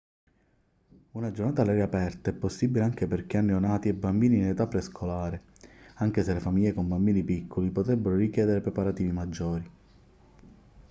una giornata all'aria aperta è possibile anche per chi ha neonati e bambini in età prescolare anche se le famiglie con bambini piccoli potrebbero richiedere preparativi maggiori